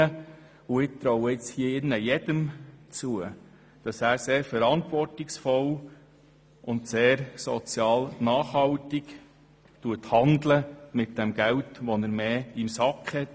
Ich traue jedem hier drin zu, dass er sehr verantwortungsvoll und sozial nachhaltig mit dem Geld handelt, welches er zusätzlich in der Tasche hat.